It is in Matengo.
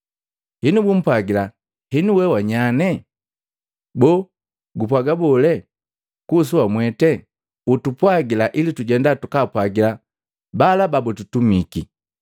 Henu bupwagila, “Henu we wanyanye? Boo gupwaga bole kuhusu wamwete? Utupwagila ili tujenda takapwagila bala babututumiki.”